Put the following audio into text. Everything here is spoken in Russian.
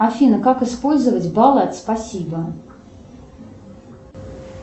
афина как использовать баллы от спасибо